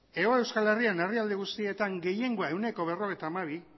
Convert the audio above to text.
hego euskal herrian herrialde guztietan gehiengoa ehuneko berrogeita hamabi